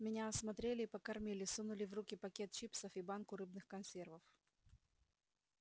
меня осмотрели и покормили сунули в руки пакет чипсов и банку рыбных консервов